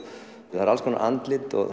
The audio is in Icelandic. það eru alls konar andlit og